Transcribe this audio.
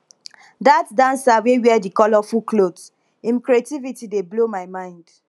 dat dancer wey wear di colourful cloth im creativity dey blow my mind